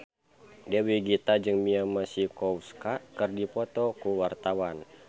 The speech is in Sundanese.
Dewi Gita jeung Mia Masikowska keur dipoto ku wartawan